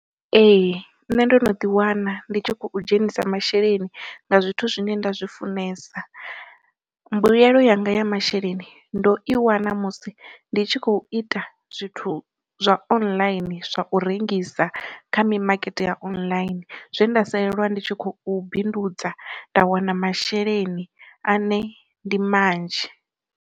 Ee nṋe ndo no ḓi wana ndi tshi kho dzhenisa masheleni nga zwithu zwine nda zwi funesa, mbuyelo yanga ya masheleni ndo i wana musi ndi tshi khou ita zwithu zwa online zwa u rengisa kha mimakete ya online zwe nda salelwa ndi tshi khou bindudza nda wana masheleni ane ndi manzhi.